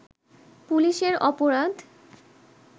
পুলিশের অপরাধ